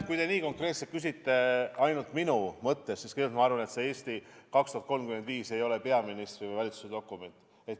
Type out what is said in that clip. Kui te nii konkreetselt küsite minu tunnetuse kohta, siis ma arvan, et see "Eesti 2035" ei ole peaministri või valitsuse dokument.